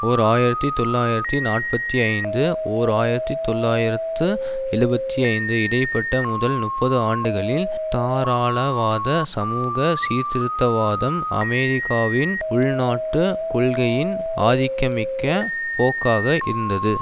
ஓர் ஆயிரத்தி தொள்ளாயிரத்தி நாற்பத்தி ஐந்து ஓர் ஆயிரத்தி தொள்ளாயிரத்து எழுபத்தி ஐந்து இடைபட்ட முதல் நுப்பது ஆண்டுகளில் தாராளவாத சமூக சீர்திருத்தவாதம் அமெரிக்காவின் உள்நாட்டு கொள்கையின் ஆதிக்கமிக்க போக்காக இருந்தது